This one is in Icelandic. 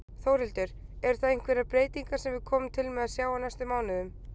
Þórhildur: Eru það einhverjar breytingar sem við komum til með að sjá á næstu mánuðum?